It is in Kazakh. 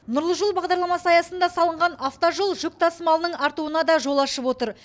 нұрлы жол бағдарламасы аясында салынған автожол жүк тасымалының артуына да жол ашып отыр